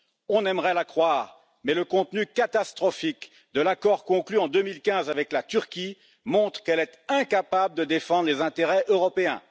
On aimerait la croire, mais le contenu catastrophique de l'accord conclu en 2015 avec la Turquie montre qu'elle est incapable de défendre les intérêts européens.